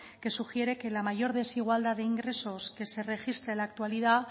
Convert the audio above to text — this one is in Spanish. que sugiere que la mayor desigualdad de ingresos que se registra en la actualidad